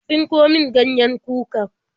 Ka tsinko min ganyen kukar?